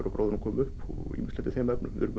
gróðurinn komi upp og ýmislegt í þeim efnum við erum